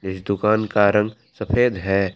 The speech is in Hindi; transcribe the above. इस दुकान का रंग सफेद है।